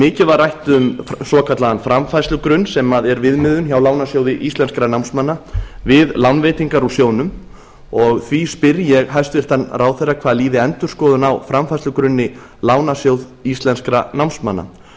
mikið var rætt um svokallaðan framfærslugrunn sem er viðmiðun hjá lánasjóði íslenskra námsmanna við lánveitingar úr sjóðnum og því spyr ég hæstvirtan ráðherra hvað líði endurskoðun á framfærslugrunni lánasjóðs íslenskra námsmanna